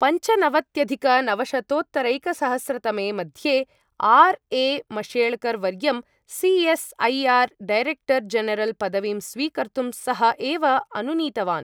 पञ्चनवत्यधिकनवशतोत्तरैकसहस्रतमे मध्ये R. A. Mashelkar वर्यं सि.एस्.ऐ.आर्. Director general पदवीं स्वीकर्तुं सः एव अनुनीतवान्।